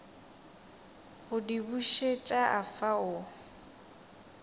go di bušet afa o